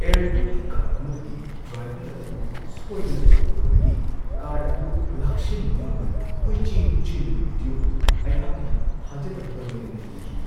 ꯑꯦꯌꯔꯄꯣꯔꯠꯀꯤ cart ꯑꯃꯗꯒꯤ driver ꯑꯗꯨ ꯁꯣꯏꯗꯅ ꯇꯥꯍꯧꯕꯗꯒꯤ ꯀꯥꯔ꯭ꯠ ꯑꯗꯨ ꯂꯥꯛꯁꯤꯟꯕ ꯉꯝꯗꯅ ꯀꯣꯏꯆꯦꯟ-ꯆꯦꯟꯕꯒꯤ ꯚꯤꯗ꯭ꯌꯣ ꯑꯗꯨ ꯑꯩꯍꯥꯛꯅ ꯊꯥꯖꯗꯕꯒ ꯂꯣꯏꯅꯅ ꯌꯦꯡꯈꯤ ꯫